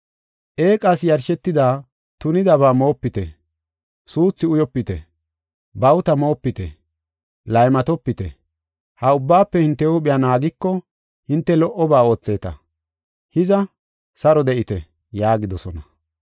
Eeqas yarshetidi tunidaba moopite, suuthu uyopite, bawuta moopite, laymatopite. Ha ubbaafe hinte huuphiya naagiko hinte lo77oba ootheeta. Hiza, saro de7ite” yaagidosona.